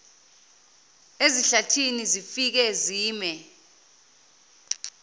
ezihlathini zifike zime